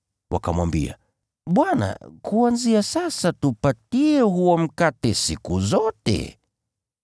Wakamwambia, “Bwana, kuanzia sasa tupatie huo mkate siku zote.”